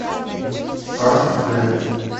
аш дэ